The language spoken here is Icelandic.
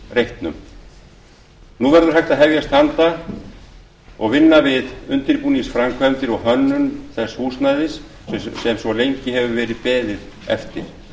alþingisreitsins nú verður hægt að hefja vinnu við undirbúningsframkvæmdir og hönnun þess húsnæðis sem svo lengi hefur verið beðið eftir